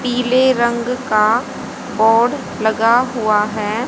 पीले रंग का बोड लगा हुआ है।